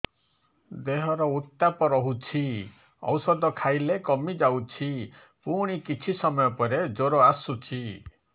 ଦେହର ଉତ୍ତାପ ରହୁଛି ଔଷଧ ଖାଇଲେ କମିଯାଉଛି ପୁଣି କିଛି ସମୟ ପରେ ଜ୍ୱର ଆସୁଛି